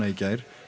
í gær